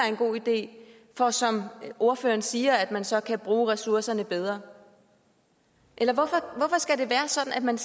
en god idé for som ordføreren siger at man så kan bruge ressourcerne bedre eller hvorfor skal det være sådan at man